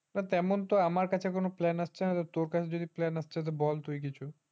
তেমন তো আমার কাছে কোন plan আসছে না তোর কাছে কোন plan আসছে তো বল কিছু